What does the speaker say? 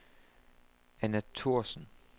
Anna Thorsen